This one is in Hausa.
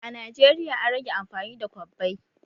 A Najeriya an rage amfani da kwabbai